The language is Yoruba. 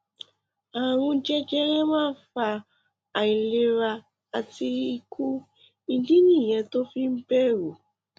ààrùn jẹjẹrẹ máa ń fa àìlera àti ikú ìdí nìyẹn tó o fi ń bẹrù